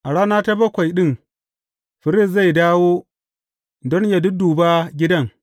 A rana ta bakwai ɗin firist zai dawo don yă dudduba gidan.